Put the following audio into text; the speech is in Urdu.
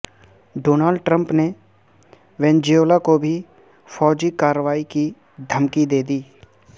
ڈونلڈ ٹرمپ نے وینزویلا کو بھی فوجی کارروائی کی دھمکی دے دی